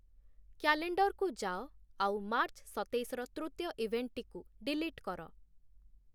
କ୍ୟାଲେଣ୍ଡର୍‌କୁ ଯାଅ ଆଉ ମାର୍ଚ୍ଚ୍‌ ସତେଇଶର ତୃତୀୟ ଇଭେଣ୍ଟ୍‌ଟିକୁ ଡିଲିଟ୍‌ କର